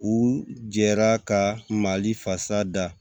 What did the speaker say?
U jɛra ka mali fasa da